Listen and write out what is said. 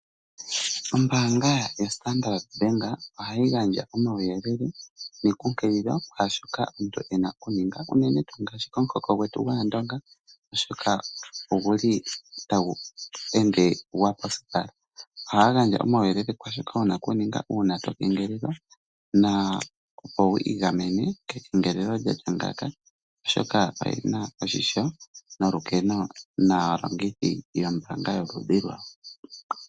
Ombaanga yoStandrd ohayi gandja omauyelele nekunkililo kwaa shoka omuntu e na okuninga unene komuhoko gwetu gwAandonga, oshoka otagu ende gwa posipala. Ohaya gandja omauyelele kwaa shoka wu na okuninga uuna to kengelelwa, opo wi igamene kengelelo lya tya ngaaka, oshoka oye na oshimpwiyu naalongithi yombaanga yawo.